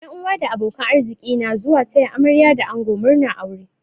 Yan uwa da abokan arziki na zuwa taya amarya da ango murnar aure.